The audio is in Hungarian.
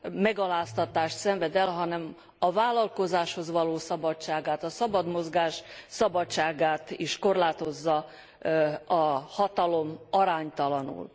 megaláztatást szenved el, hanem a vállalkozáshoz való szabadságát, a szabad mozgás szabadságát is korlátozza a hatalom aránytalanul.